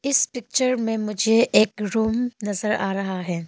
इस पिक्चर में मुझे एक रूम नजर आ रहा है।